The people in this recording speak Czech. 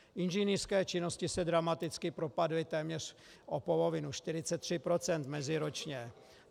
Inženýrské činnosti se dramaticky propadly téměř o polovinu, 43 % meziročně.